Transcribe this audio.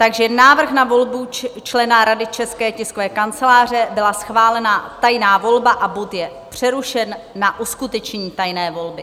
Takže návrh na volbu člena Rady České tiskové kanceláře - byla schválena tajná volba a bod je přerušen na uskutečnění tajné volby.